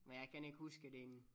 Men jeg kan ikke huske den